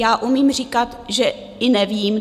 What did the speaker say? Já umím říkat, že i nevím.